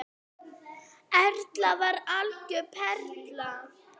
Erla var algjör perla.